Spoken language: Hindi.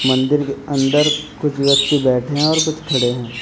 मंदिर के अंदर कुछ व्यक्ति बैठे हैं और कुछ खड़े हैं।